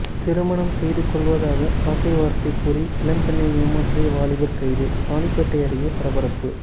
திருமணம் செய்து கொள்வதாக ஆசைவார்த்தை கூறி இளம்பெண்ணை ஏமாற்றிய வாலிபர் கைது ராணிப்பேட்டை அருகே பரபரப்பு